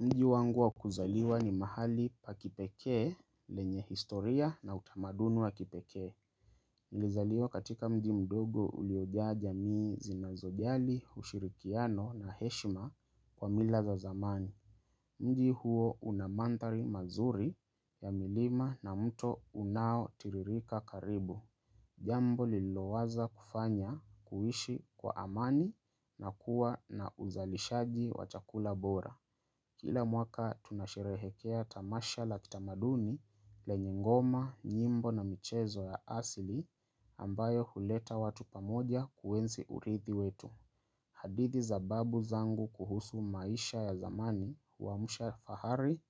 Mji wangu wa kuzaliwa ni mahali pa kipekee lenye historia na utamadunu wa kipekee Nilizaliwa katika mji mdogo uliojaja mii zinazojali, ushirikiano na heshima kwa mila za zamani mji huo unamandhari mazuri ya milima na mto unao tiririka karibu Jambo lilo waza kufanya kuishi kwa amani na kuwa na uzalishaji wa chakula bora Kila mwaka tunashirehekea tamasha la kitamaduni lenye ngoma, nyimbo na michezo ya asili ambayo huleta watu pamoja kuwensi urithi wetu. Hadithi za babu zangu kuhusu maisha ya zamani huamsha fahari